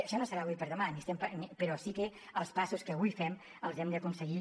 això no serà d’avui per demà però sí que els passos que avui fem els hem d’aconseguir